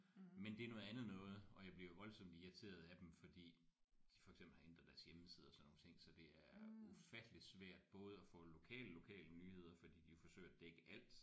Men det er noget andet noget og jeg bliver jo voldsomt irriteret af dem fordi de for eksempel har ændret deres hjemmeside og sådan nogle ting så det er ufatteligt svært både at få lokale lokale nyheder fordi de jo forsøger at dække alt